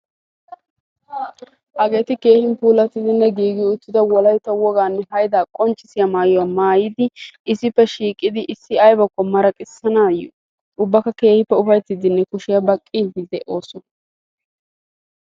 hageeti keehi puulatidinne giigi uttida wolaytta wogaa haydaa qonccissiyaa maayuwa maayidi issippe shiiqidi iisi aybakko maraqqisanaayo ubakka ufaytiidinne kushiyaa baqiidi beetoosona.